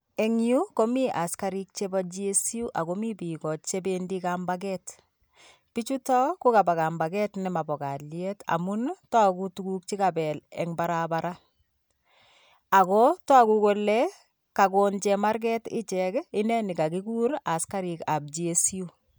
Engyu komi askarik chepi GSU ako mi piko chependi kambaket pichuto kokapakambaket nemapo kalyet amun togu kukapel tugun en parapara akotogu kole kagon chemarget ichek ineni kakikur askarik ap GSU